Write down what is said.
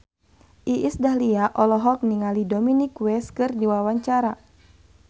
Iis Dahlia olohok ningali Dominic West keur diwawancara